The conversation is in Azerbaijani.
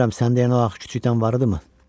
Bilirəm səndə eləən o ağ kütükdən varıdı mı?